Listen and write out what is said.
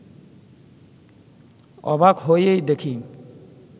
অবাক হয়েই দেখি